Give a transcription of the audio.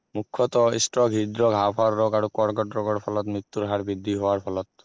মূখ্যত stroke হৃদৰোগ হাঁও-ফাওঁৰ ৰোগ আৰু কৰ্কট ৰোগৰ ফলত মৃত্যুৰ হাৰ বৃদ্ধি হোৱাৰ ফলত